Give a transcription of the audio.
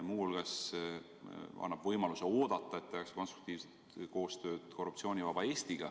Muu hulgas annab see võimaluse oodata, et tehakse konstruktiivset koostööd ühinguga Korruptsioonivaba Eesti.